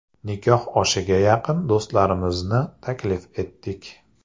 Nikoh oshiga yaqin do‘stlarimizni taklif etdik.